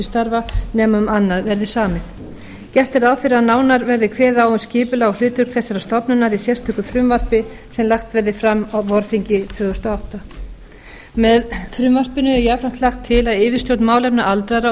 starfa nema um annað verði samið gert er ráð fyrir að nánar verði kveðið á um skipulag og hlutverk þessarar stofnunar í sérstöku frumvarpi sem lagt verði fram á vorþingi tvö þúsund og átta með frumvarpinu er jafnframt lagt til að yfirstjórn málefna aldraðra og